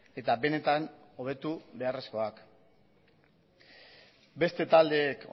eta benetan hobetu beharrezkoak beste taldeek